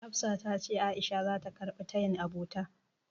Hafsat tace A'isha zata karɓi tayin abota.